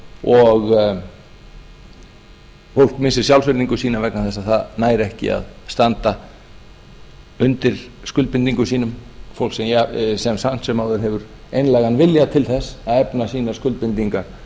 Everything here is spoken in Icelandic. og fólk missir sjálfsvirðingu sína vegna þess að það nær ekki að standa undir skuldbindingum sínum fólk sem samt sem áður hefur einlægan vilja til þess að efna sínar skuldbindingar